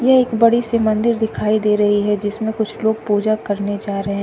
यह एक बड़ी सी मंदिर दिखाई दे रही है जिसमें कुछ लोग पूजा करने जा रहे--